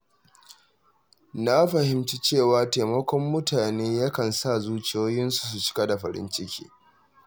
Na fahimci cewa taimakon mutane yakan sa zuciyoyinsu su cika da farin ciki.